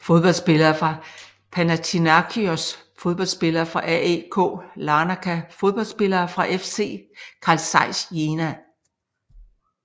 Fodboldspillere fra Panathinaikos Fodboldspillere fra AEK Larnaka Fodboldspillere fra FC Carl Zeiss Jena